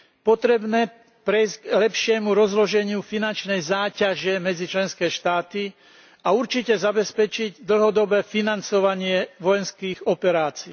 Potrebujeme prejsť k lepšiemu rozloženiu finančnej záťaže medzi členské štáty a určite zabezpečiť dlhodobé financovanie vojenských operácií.